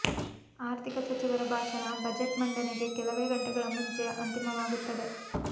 ಆರ್ಥಿಕ ಸಚಿವರ ಭಾಷಣ ಬಜೆಟ್ ಮಂಡನೆಗೆ ಕೆಲವೇ ಗಂಟೆಗಳ ಮುಂಚೆ ಅಂತಿಮವಾಗುತ್ತದೆ